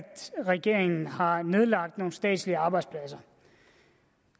regeringen har nedlagt nogle statslige arbejdspladser